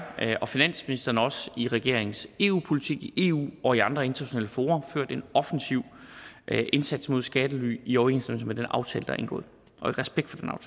og finansministeren har også i regeringens eu politik i eu og i andre internationale fora ført en offensiv indsats mod skattely i overensstemmelse med den aftale der er indgået og i respekt for